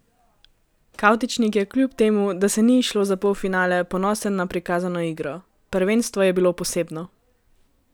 Kavtičnik je kljub temu, da se ni izšlo za polfinale, ponosen na prikazano igro: "Prvenstvo je bilo posebno.